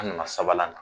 An nana sabanan na